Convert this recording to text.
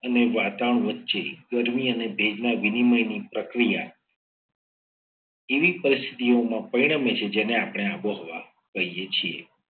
અને વાતાવરણ વચ્ચે ગરમી અને ભેજના વિનિમય ની પ્રક્રિયા એવી પરિસ્થિતિઓમાં પરિણમે છે. જેને આપણે આબોહવા કહીએ છીએ.